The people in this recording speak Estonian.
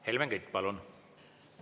Helmen Kütt, palun!